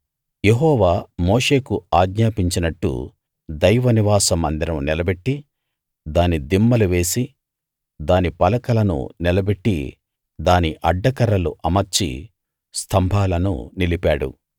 యెహోవా మోషేకు ఆజ్ఞాపించినట్టు దైవ నివాస మందిరం నిలబెట్టి దాని దిమ్మలు వేసి దాని పలకలను నిలబెట్టి దాని అడ్డకర్రలు అమర్చి స్తంభాలను నిలిపాడు